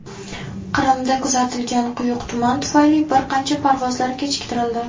Qrimda kuzatilgan quyuq tuman tufayli bir qancha parvozlar kechiktirildi.